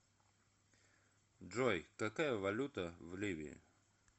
джой какая валюта в ливии